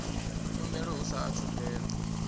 khumbelo hu saathu u fhela